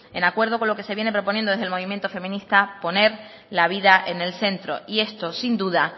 el acuerdo con lo que se viene proponiendo desde el movimiento feminista poner la vida en el centro y esto sin duda